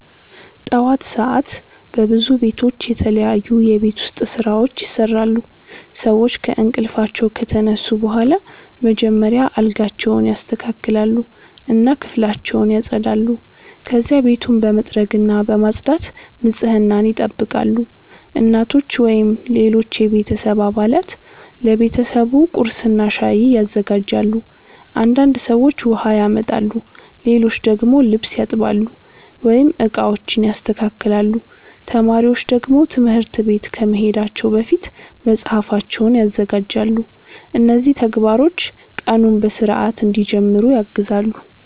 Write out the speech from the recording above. ጠዋት ሰዓት በብዙ ቤቶች የተለያዩ የቤት ውስጥ ስራዎች ይሰራሉ። ሰዎች ከእንቅልፋቸው ከተነሱ በኋላ መጀመሪያ አልጋቸውን ያስተካክላሉ እና ክፍላቸውን ያጸዳሉ። ከዚያ ቤቱን በመጥረግና በማጽዳት ንጽህናን ይጠብቃሉ። እናቶች ወይም ሌሎች የቤተሰብ አባላት ለቤተሰቡ ቁርስና ሻይ ያዘጋጃሉ። አንዳንድ ሰዎች ውሃ ያመጣሉ፣ ሌሎች ደግሞ ልብስ ያጥባሉ ወይም ዕቃዎችን ያስተካክላሉ። ተማሪዎች ደግሞ ትምህርት ቤት ከመሄዳቸው በፊት መጽሐፋቸውን ያዘጋጃሉ። እነዚህ ተግባሮች ቀኑን በሥርዓት እንዲጀምሩ ያግዛሉ።